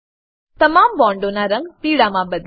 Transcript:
તમામ બોન્ડોનાં રંગ પીળામાં બદલો